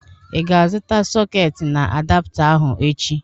Ị ga-azụta sọketi na adapta ahụ echi?